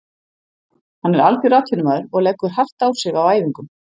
Hann er algjör atvinnumaður og leggur hart á sig á æfingum.